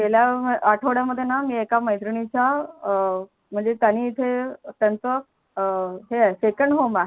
गेल्या आठवड्यामध्येणा मी एका मैत्रिणीचा म्हणजे त्यांनी इथे त्यांच हे आहे second home आहे